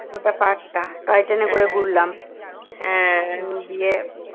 গোটা park টা toy ট্রেনে করে ঘুরলাম দিয়ে